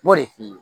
M'o de f'i ɲɛna